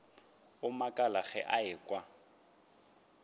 a makala ge a ekwa